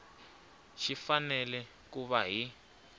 xi fanele ku va hi